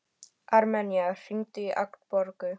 Armenía, hringdu í Agnborgu.